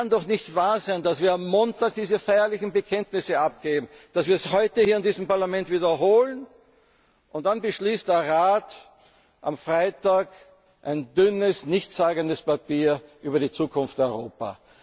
Papier wert. Es kann doch nicht wahr sein, dass wir am Montag diese feierlichen Bekenntnisse abgeben, sie heute in diesem Parlament wiederholen und dann beschließt der Rat am Freitag ein dünnes, nichtssagendes Papier über die Zukunft